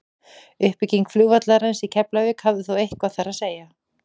uppbygging flugvallarins í keflavík hafði þó eitthvað þar að segja